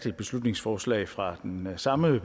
et beslutningsforslag fra den samme